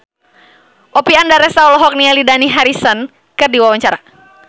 Oppie Andaresta olohok ningali Dani Harrison keur diwawancara